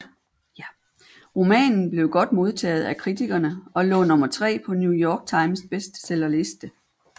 Romanen blev godt modtaget af kritikerne og lå nummer tre på New York Times bestsellerliste